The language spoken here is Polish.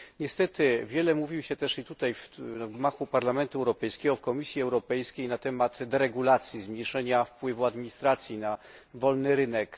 Niestety wiele mówi się też i tutaj, w gmachu Parlamentu Europejskiego, w Komisji Europejskiej, na temat deregulacji, zmniejszenia wpływu administracji na wolny rynek.